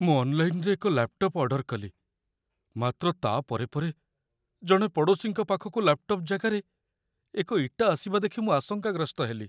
ମୁଁ ଅନ୍‌ଲାଇନ୍‌ରେ ଏକ ଲାପ୍‌ଟପ୍‌‌ ଅର୍ଡର କଲି, ମାତ୍ର ତା' ପରେ ପରେ ଜଣେ ପଡ଼ୋଶୀଙ୍କ ପାଖକୁ ଲାପ୍‌ଟପ୍‌‌ ଜାଗାରେ ଏକ ଇଟା ଆସିବା ଦେଖି ମୁଁ ଆଶଙ୍କାଗ୍ରସ୍ତ ହେଲି।